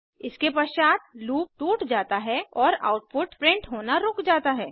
इसके पश्चात लूप टूट जाता है और आउटपुट प्रिंट होना रुक जाता है